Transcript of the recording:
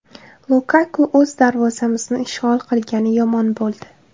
Lukaku o‘z darvozamizni ishg‘ol qilgani yomon bo‘ldi.